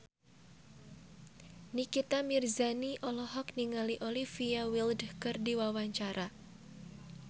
Nikita Mirzani olohok ningali Olivia Wilde keur diwawancara